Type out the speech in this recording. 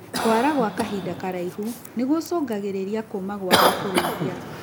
Kwara gwa kahinda karaihu nĩgũcungagĩrĩria kũma kwa gwakũrĩithia.